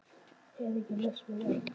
Það er ekki laust við að